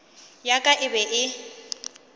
ya ka e be e